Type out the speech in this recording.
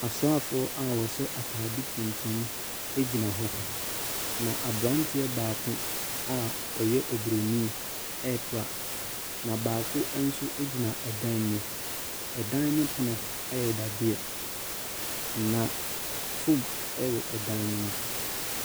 Asraafoɔ a wɔhyɛ atadeɛ tuntum gyina hɔ, na aberanteɛ baako a ɔyɛ Oburonin repra. Na baako nso gyina ɛdan mu. An no pono yɛ dadeɛ. Na Foam wɔ dan no mu.